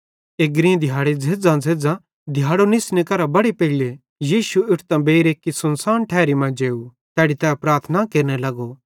एग्री दिहाड़ी झ़ेज़्झ़ांझ़ेज़्झ़ां दिहाड़ो निस्ने केरां बड़े पेइले यीशु उठतां बेइर एक्की सुनसान ठैरी मां जेव तैड़ी तै प्रार्थना केरने लगो